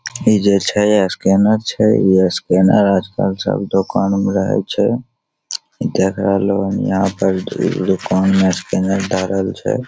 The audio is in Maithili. इ जे छै स्कैनर छै इ स्कैनर आज-कल सब दोकान में रहे छै इ देख रहलो न यहाँ पे दुकान में स्कैनर धरल छै।